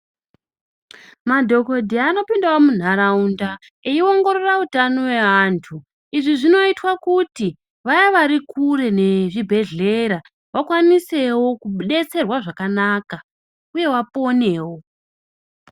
Madhokodheya anopinda mundaraunda eiongororawo utano weantu izvi zvoitawo kuti vanogara kure nezvibhehlera vakwanisewo kubetserwka zvakanaka vaponewo.